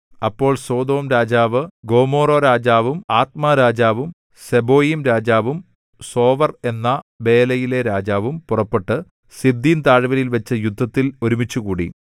അപ്പോൾ സൊദോംരാജാവും ഗൊമോറാരാജാവും ആദ്മാരാജാവും സെബോയീംരാജാവും സോവർ എന്ന ബേലയിലെ രാജാവും പുറപ്പെട്ട് സിദ്ദീംതാഴ്വരയിൽവച്ച് യുദ്ധത്തിൽ ഒരുമിച്ചുകൂടി